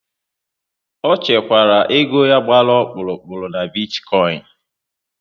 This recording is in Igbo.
Ọ chekwara ego ya gbara ọkpụrụkpụ n'bitikoin